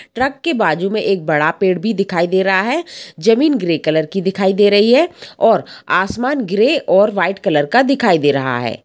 Truck के बाजू मे एक बड़ा पेड़ भी दिखाई दे रहा है ज़मीन ग्रे कलर की दिखाई दे रही है और असमान ग्रे और व्हाइट कलर का दिखाई दे रहा है ।